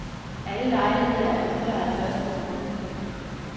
Alle lejligheder er udlejet først på måneden.